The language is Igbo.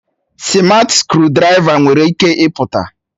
sịmatị skrụdiraiva nwere ike ịpụta